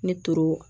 Ne toro